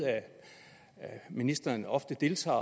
at ministeren ofte deltager